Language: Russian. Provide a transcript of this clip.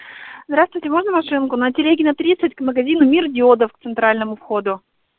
здравствуйте можно машинку на телегина тридцать к магазину мир диодов к центральному входу